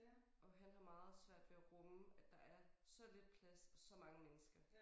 Og han har meget svært ved at rumme at der er så lidt plads og så mange mennesker